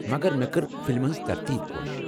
مگر مےٚ كٔر فلمن ہٕنٛز ترتیٖب خۄش ۔